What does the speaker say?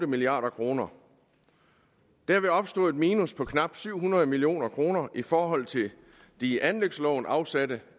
milliard kroner derved opstod et minus på knap syv hundrede million kroner i forhold til de i anlægsloven afsatte